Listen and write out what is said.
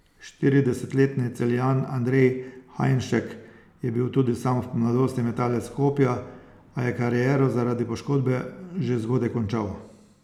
Štiridesetletni Celjan Andrej Hajnšek je bil tudi sam v mladosti metalec kopja, a je kariero zaradi poškodbe že zgodaj končal.